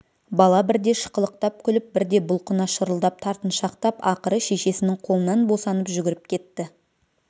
бала бірде шықылықтап күліп бірде бұлқына шырылдап тартыншақтап ақыры шешесінің қолынан босанып жүгіріп кетті